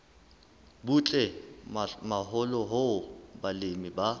butle haholo hoo balemi ba